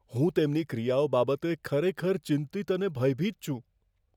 હું તેમની ક્રિયાઓ બાબતે ખરેખર ચિંતિત અને ભયભીત છું.